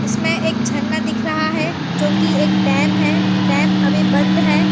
इसमें एक झरना दिख रहा है जो की एक डैम है डैम अभी बंद है।